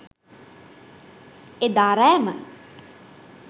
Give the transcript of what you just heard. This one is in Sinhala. එදා රෑම